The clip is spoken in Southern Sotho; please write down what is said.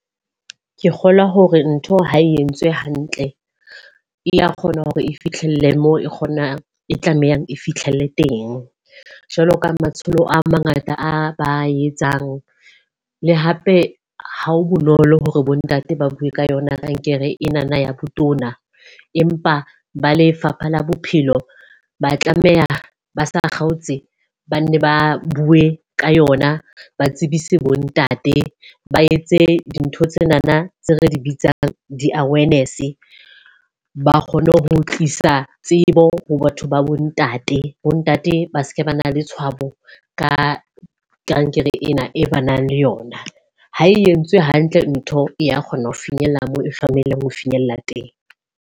Ke kgolwa hore ntho ho entswe hantle e a kgona hore e fihlelle mo kgonang e tlamehang e fihlelle teng. Jwalo ka matsholo a mangata a etsang. Le hape ha ho bonolo hore bo ntate ba bue ka yona kankere ena na ya botona. Empa ba Lefapha la Bophelo ba tlameha ba sa kgaotse, ba nne ba bue ka yona. Ba tsebise bo ntate ba etse dintho tsena tse re di bitsang di-awareness. Ba kgone ho tlisa tsebo ho batho ba bo ntate, bo ntate ba seke ba na le tshwabo ka kankere ena e ba nang le yona. Ha e entswe hantle ntho e ya kgona ho finyella mo e tlameileng ho finyella teng.